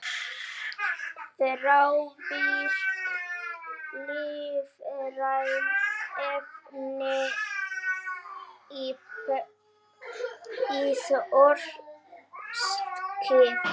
Þrávirk lífræn efni í þorski